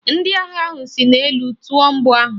Ndị agha ahụ si n'elu tụọ mgbọ ahụ.